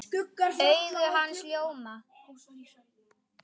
Augu hans ljóma.